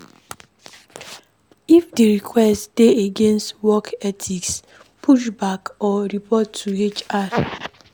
If di request dey against work ethics push back or report to HR